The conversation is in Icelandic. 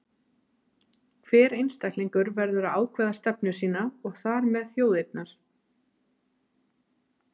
Hver einstaklingur verður að ákveða stefnu sína, og þar með þjóðarinnar.